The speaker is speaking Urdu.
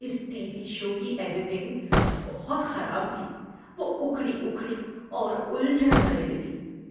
اس ٹی وی شو کی ایڈیٹنگ بہت خراب تھی۔ وہ اکھڑی اکھڑی اور الجھن بھری لگی۔